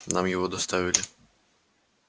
нам его доставили